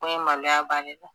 Ko in maloya b'ale la